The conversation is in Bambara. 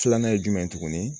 Filanan ye jumɛn ye tuguni